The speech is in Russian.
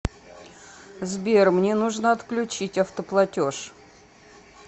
сбер мне нужно отключить автоплатеж